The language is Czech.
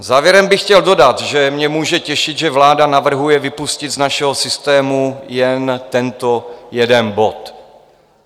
Závěrem bych chtěl dodat, že mě může těšit, že vláda navrhuje vypustit z našeho systému jen tento jeden bod.